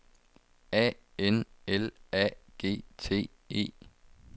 A N L A G T E